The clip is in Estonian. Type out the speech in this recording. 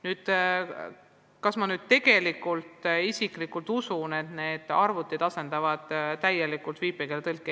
Nüüd, kas ma isiklikult usun, et need arvutid asendavad täielikult viipekeeletõlke?